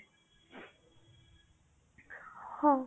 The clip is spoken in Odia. ହଉ